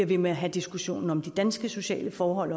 ved med at have diskussionen om de danske sociale forhold